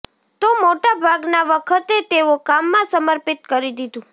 તો મોટા ભાગના વખતે તેઓ કામમાં સમર્પિત કરી દીધું